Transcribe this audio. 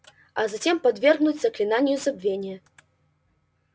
и затем подвергнуть заклинанию забвения